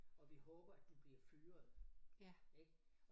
Og vi håber at du bliver fyret ik